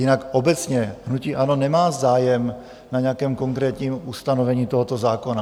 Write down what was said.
Jinak obecně hnutí ANO nemá zájem na nějakém konkrétním ustanovení tohoto zákona.